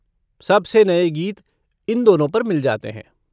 सबसे नये गीत इन दोनों पर मिल जाते हैं।